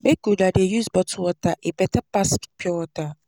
Make una dey use bottle water, e beta pass pure water.